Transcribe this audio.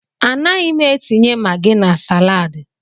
A naghị m etinye magi na salaadi.